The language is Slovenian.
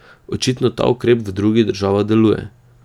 Očitno ta ukrep v drugih državah deluje.